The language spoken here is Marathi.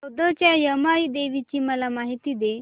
औंधच्या यमाई देवीची मला माहिती दे